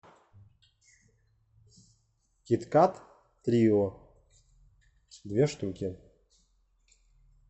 киткат трио две штуки